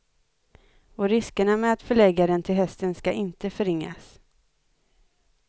Och riskerna med att förlägga den till hösten ska inte förringas.